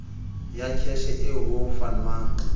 ya kheshe eo ho fanwang